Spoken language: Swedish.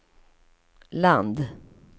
land